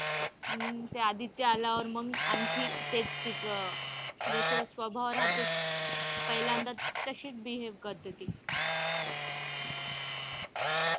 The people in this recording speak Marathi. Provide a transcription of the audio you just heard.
मग ते आदित्य आल्यावर मग आणखी तेच तीच जस स्वभाव रहाते पहिल्यांदा तशीच behave करते ती.